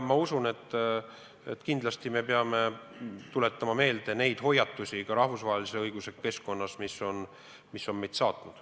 Ma usun, et kindlasti me peame tuletama meelde neid hoiatusi ka rahvusvahelise õiguse keskkonnas, mis on meid saatnud.